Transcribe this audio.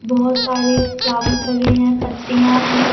बहोत सारे फ्लावर लगे हैं पत्तियां है।